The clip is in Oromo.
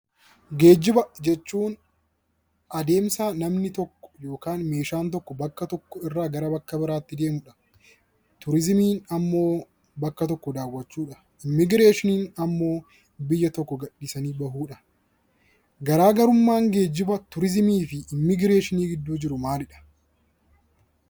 Geejjiba jechuun adeemsa namni tokko yookaan meeshaan tokko bakka tokko irraa gara bakka biraatti deemu dha. Turiizimiin ammoo bakka tokko daawwachuu dha. Immigireeshinii ammmoo biyya tokko gadhiisanii bahuu dha. Garaa garummaan Geejjiba, Turiizimii fi Imigireeshinii gidduu jiru maalidha?